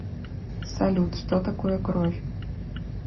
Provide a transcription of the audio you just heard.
салют что такое кровь